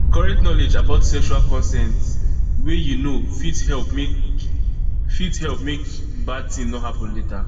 correct knowledge about sexual consent way you know fit help make fit help make bad thing no happen later